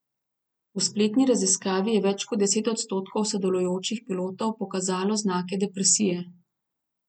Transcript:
V spletni raziskavi je več kot deset odstotkov sodelujočih pilotov pokazalo znake depresije.